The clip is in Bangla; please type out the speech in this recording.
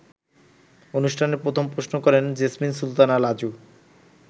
অনুষ্ঠানে প্রথম প্রশ্ন করেন জেসমিন সুলতানা লাজু।